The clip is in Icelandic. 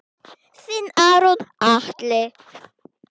Þinn Aron Atli.